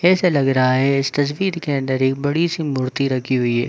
ऐसा लग रहा है इस तस्वीर के अंदर एक बड़ी सी मूर्ती रखी हुई है।